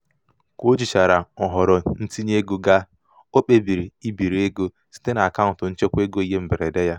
ka o jichara nhọrọ ntinyeego ga o kpebiri ibiri ego kpebiri ibiri ego site n'akaụntụ nchekwaego ihe mberede ya.